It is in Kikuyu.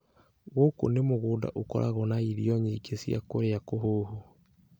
Ngũkũ nĩ mũgũnda ũkoragwo na irio nyingĩ cia kũrĩa kũhũhũ